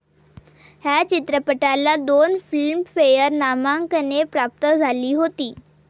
ह्य चित्रपटाला दोन फिल्मफेअर नामांकने प्राप्त झाली होती.